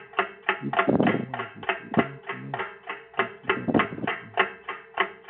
Ipò Àjèjì Báńkì Náà Ti Túbọ̀ buru si